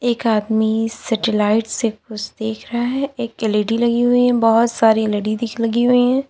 एक आदमी सेटेलाइट से कुछ देख रहा है एक एल_इ_डी लगी हुई है बहुत सारी एल_इ_डी लगी हुई है।